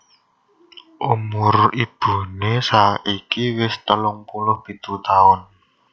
Umur ibuné saiki wis telung puluh pitu taun